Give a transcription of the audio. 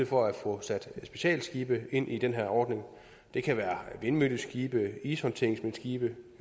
for at få sat specialskibe ind i den her ordning det kan være vindmølleskibe ishåndteringsskibe